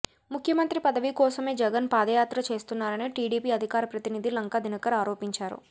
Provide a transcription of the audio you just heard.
ముఖ్యమంత్రి పదవికోసమే జగన్ పాదయాత్ర చేస్తున్నారని టిడిపి అధికార ప్రతినిధి లంకా దినకర్ ఆరోపించారు